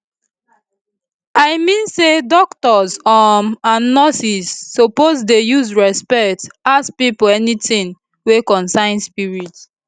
i mean say doctors um and nurses suppose dey use respect ask pipo anytin wey concern spirit